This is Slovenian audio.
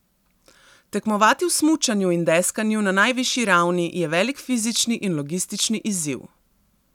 Tekmovati v smučanju in deskanju na najvišji ravni je velik fizični in logistični izziv.